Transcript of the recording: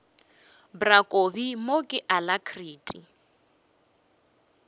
bra kobi mo ke alacrity